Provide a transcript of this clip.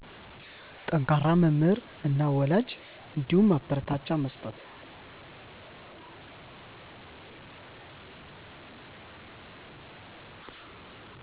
ጠንከራ መምህር እና ወላጅ እንዲሁም ማበረታቻ መስጠት